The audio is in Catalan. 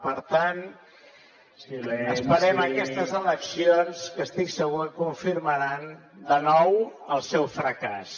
per tant esperem aquestes eleccions que estic segur que confirmaran de nou el seu fracàs